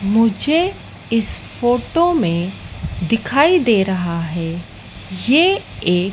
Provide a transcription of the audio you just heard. मुझे इस फोटो में दिखाई दे रहा है ये एक--